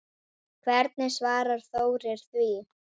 Hvernig svarar Þórir því?